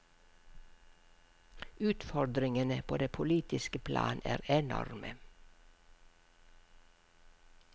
Utfordringene på det politiske plan er enorme.